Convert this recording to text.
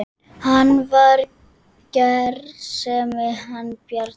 Hann var gersemi hann Bjarni.